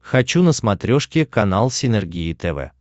хочу на смотрешке канал синергия тв